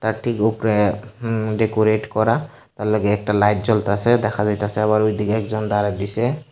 তার ঠিক উপরে হুম ডেকোরেট করা তার লগে একটা লাইট জ্বলতাসে দেখা যাইতাসে আবার ওইদিকে একজন দাঁড়ায় রইসে।